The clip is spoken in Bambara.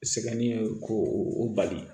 Sɛgɛnnen ko o bali